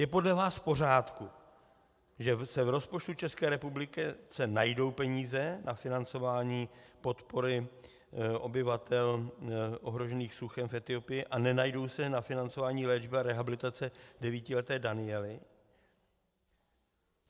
Je podle vás v pořádku, že se v rozpočtu České republiky najdou peníze na financování podpory obyvatel ohroženým suchem v Etiopii a nenajdou se na financování léčby a rehabilitace devítileté Daniely?